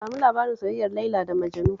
Ba mu labarin soyayyar Laila da Majanu